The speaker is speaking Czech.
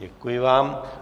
Děkuji vám.